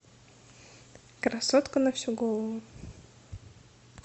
красотка на всю голову